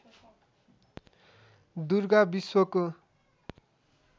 दुर्गा विश्वको